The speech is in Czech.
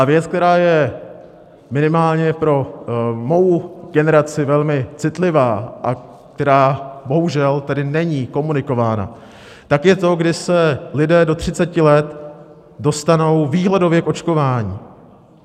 A věc, která je minimálně pro mou generaci velmi citlivá a která bohužel tedy není komunikována, tak je to, kdy se lidé do 30 let dostanou výhledově k očkování.